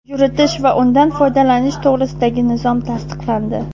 yuritish va undan foydalanish to‘g‘risidagi nizom tasdiqlandi.